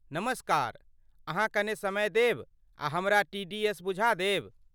नमस्कार, अहाँ कने समय देब आ हमरा टी.डी.एस. बुझा देब?